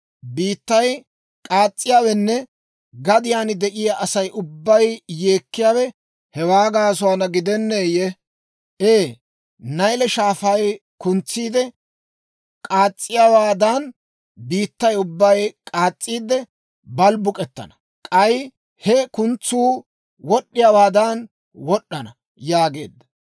Biittay k'aas's'iyaawenne gadiyaan de'iyaa Asay ubbay yeekkiyaawe hewaa gaasuwaana gidenneeyye? Ee Nayle Shaafay kuntsiide k'aas's'iyaawaadan, biittaa ubbay k'aas's'iide balbbuk'ettana; k'ay he kuntsuu wod'd'iyaawaadan wod'd'ana» yaageedda.